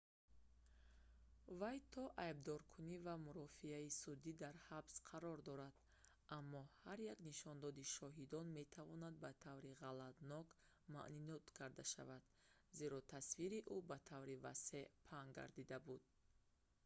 вай то айбдоркунӣ ва мурофиаи судӣ дар ҳабс қарор дорад аммо ҳар як нишондоди шоҳидон метавонад ба таври ғалатнок маънидод карда шавад зеро тасвири ӯ ба таври васеъ паҳн гардида буд